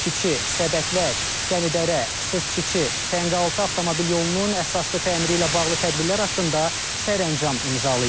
Çiçi, Səbətlər, Qəni Dərə, Sırçici, Tənqaltı avtomobil yolunun əsaslı təmiri ilə bağlı tədbirlər haqqında sərəncam imzalayıb.